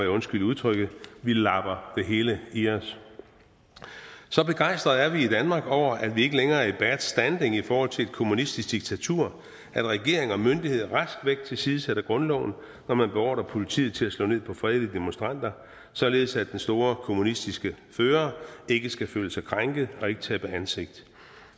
undskyld udtrykket labber det hele i os så begejstrede er vi i danmark over at vi ikke længere er i bad standing i forhold til et kommunistisk diktatur at regering og myndigheder rask væk tilsidesætter grundloven når man beordrer politiet til at slå ned på fredelige demonstranter således at den store kommunistiske fører ikke skal føle sig krænket og ikke tabe ansigt